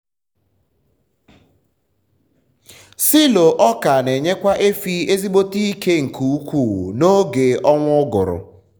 silo ọka n’enyekwa efi ezigbote ike nke ukwu na oge ọnwa ụgụrụ